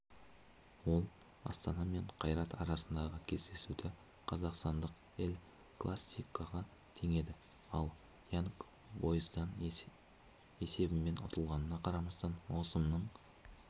ол астана мен қайрат арасындағы кездесуді қазақстандық эль-классикоға теңеді ал янг бойздан есебімен ұтылғанына қарамастан маусымның